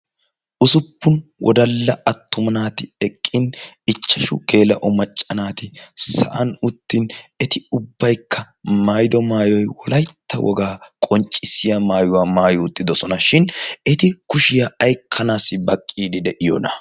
usuppun wodalla attuma naati eqqin ichchashu geela'o macca naati sa'an uttin eti ubbaykka mayido maayoy wolaytta wogaa qonccissiya maayuwaa maayi uttidosona shin eti kushiyaa aykkanaassi baqqiidi de'iyoona